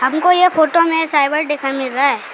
हमको ये फोटो में साइबर दिखाई मिल रहा है।